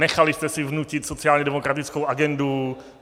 Nechali jste si vnutit sociálně demokratickou agendu.